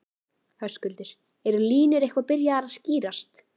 Höskuldur, eru línur eitthvað byrjaðar að skýrast?